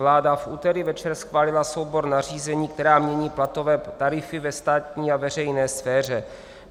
Vláda v úterý večer schválila soubor nařízení, která mění platové tarify ve státní a veřejné sféře.